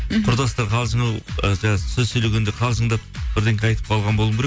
мхм құрдастар қалжыңы і жаңа сөз сөйлегенде қалжыңдап бірдеңке айтып қалған болу керек